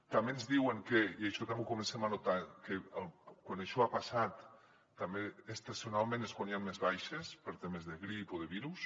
també ens diuen que i això també ho comencem a notar quan això ha passat també estacionalment és quan hi han més baixes per temes de grip o de virus